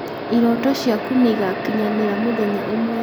irooto ciaku nĩigakinyanĩra mũthenya ũmwe